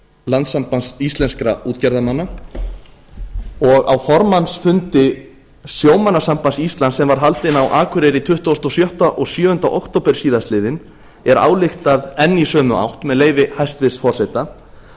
landssambands íslenskra útgerðarmanna á fundi sjómannasambands íslands sem var haldinn á akureyri tuttugasta og sjötta og tuttugasta og sjöunda október síðastliðinn er ályktað enn í sömu átt með leyfi hæstvirts forseta